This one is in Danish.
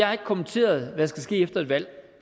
har kommenteret hvad der skal ske efter et valg